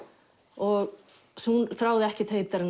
og hún þráði ekkert heitar en